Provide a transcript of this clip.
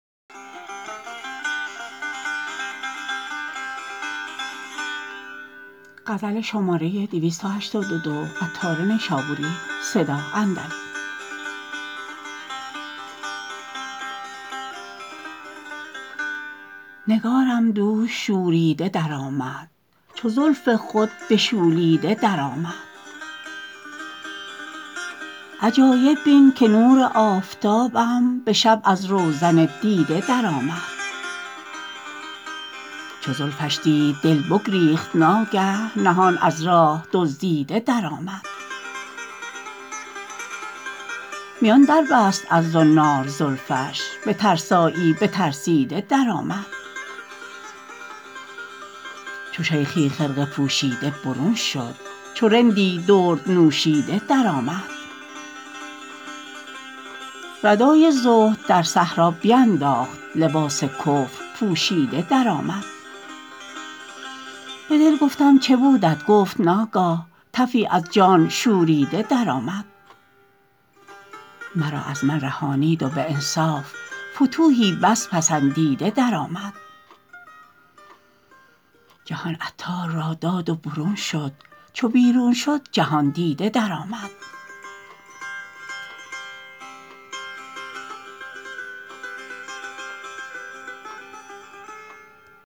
نگارم دوش شوریده درآمد چو زلف خود بشولیده درآمد عجایب بین که نور آفتابم به شب از روزن دیده درآمد چو زلفش دید دل بگریخت ناگه نهان از راه دزدیده درآمد میان دربست از زنار زلفش به ترسایی نترسیده درآمد چو شیخی خرقه پوشیده برون شد چو رندی درد نوشیده درآمد ردای زهد در صحرا بینداخت لباس کفر پوشیده درآمد به دل گفتم چبودت گفت ناگه تفی از جان شوریده درآمد مرا از من رهانید و به انصاف فتوحی بس پسندیده درآمد جهان عطار را داد و برون شد چو بیرون شد جهان دیده درآمد